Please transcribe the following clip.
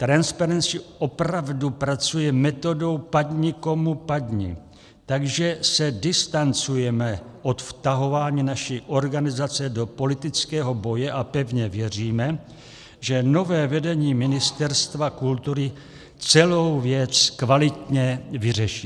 Transparency opravdu pracuje metodou padni komu padni, takže se distancujeme od vtahování naší organizace do politického boje a pevně věříme, že nové vedení Ministerstva kultury celou věc kvalitně vyřeší.